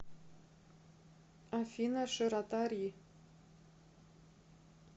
афина широта ри